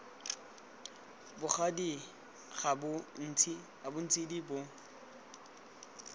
bogadi ba ga ntshidi bo